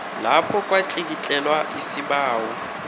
lapho kwatlikitlelwa isibawo